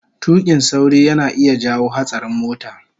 tuƙin sauri yana iya jawo hatsarin mota